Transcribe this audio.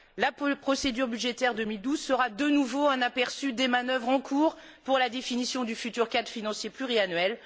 La procédure budgétaire 2012 sera de nouveau un aperçu des manœuvres en cours pour la définition du futur cadre financier pluriannuel.